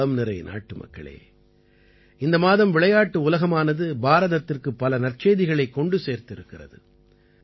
என் உளம்நிறை நாட்டுமக்களே இந்த மாதம் விளையாட்டு உலகமானது பாரதத்திற்கு பல நற்செய்திகளைக் கொண்டு சேர்த்திருக்கிறது